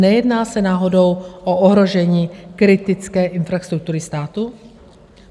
Nejedná se náhodou o ohrožení kritické infrastruktury státu?